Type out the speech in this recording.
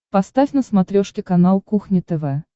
поставь на смотрешке канал кухня тв